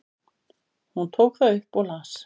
Hún tók það upp og las.